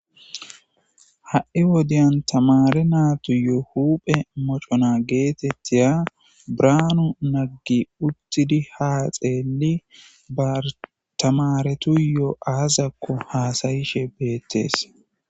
Ha7i wodeyan tamare naatu yoo huphe mocona geetettiya braanu naggi uttidi haa xeelli bartamaretuyoo7aazakko haasayishe beettees.